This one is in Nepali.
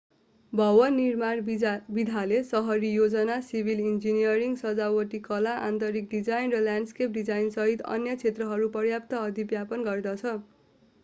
भवन निर्माण विधाले सहरी योजना सिभिल इन्जिनियरिङ सजावटी कला आन्तरिक डिजाइन र ल्याण्डस्केप डिजाइनसहित अन्य क्षेत्रहरू पर्याप्त अधिव्यापन गर्दछ